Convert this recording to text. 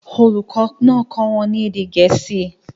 Olùkọ́ náà kọ́ wọn ní èdè Gẹ̀ẹ́sì